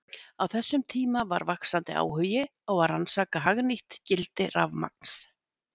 Á þessum tíma var vaxandi áhugi á að rannsaka hagnýtt gildi rafmagns.